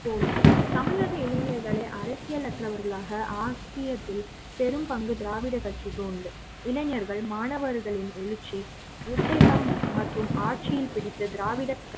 தோல்வி தமிழக இளைஞர்களை அரசியல் அற்றவர்களாக ஆகியத்தில் பெரும் ங்கு திராவிட கட்சி க்கு உண்டு இளைஞர்கள் மாணவர்களின் எழுச்சி புத்தகம் மற்றும் ஆட்சி யை பிடித்த திராவிட